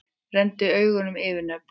Renndi augunum yfir nöfnin.